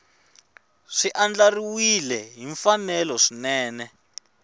swi andlariwile hi mfanelo swinene